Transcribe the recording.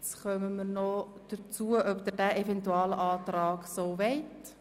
Nun stimmt der Grosse Rat darüber ab, ob er dem obsiegenden Eventualantrag zustimmt.